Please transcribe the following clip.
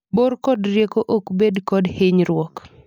bor kod rieko ok bed kod hinyruok